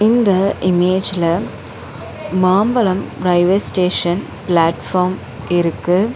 இந்த இமேஜ்ல Mambalam railway station platform இருக்கு.